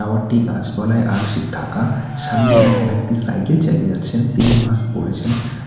Tower -টি গাছপালায় আংশিক ঢাকা সামনে এক ব্যক্তি সাইকেল চালিয়ে যাচ্ছেন তিনি মাস্ক পরেছেন।